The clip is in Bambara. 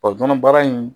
nɔnɔ baara in